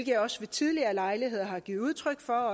jeg også ved tidligere lejligheder har givet udtryk for